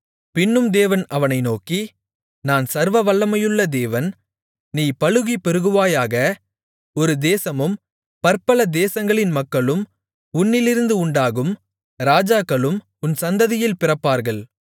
பின்னும் தேவன் அவனை நோக்கி நான் சர்வவல்லமையுள்ள தேவன் நீ பலுகிப் பெருகுவாயாக ஒரு தேசமும் பற்பல தேசங்களின் மக்களும் உன்னிலிருந்து உண்டாகும் ராஜாக்களும் உன் சந்ததியில் பிறப்பார்கள்